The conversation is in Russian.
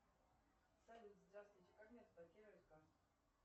салют здравствуйте как мне разблокировать карту